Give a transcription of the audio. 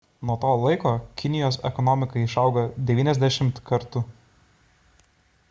nuo to laiko kinijos ekonomika išaugo 90 kartų